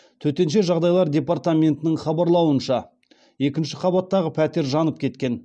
төтенше жағдайлар департаментінің хабарлауынша екінші қабаттағы пәтер жанып кеткен